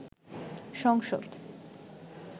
সংসদ